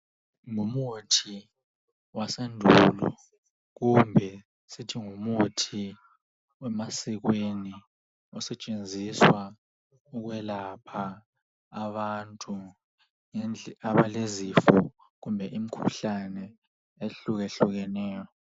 Ngumuthi wasendulo kumbe sithi ngumuthi wemasikweni osetshenziswa ukwelapha abantu abalezifo kumbe imikhuhlane ehlukahlukeneyo.